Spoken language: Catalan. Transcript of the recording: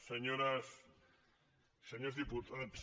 senyores i senyors diputats